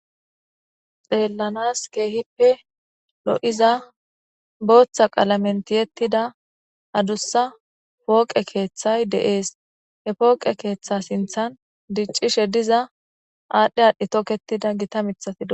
xeellanas keehippe lo7iza booththa qalamentiyettida adussa pooqe keeththay de7ees he pooqe keeththa sinthan diccishe diza aadhdhe aadhdhe toketida gita mithafio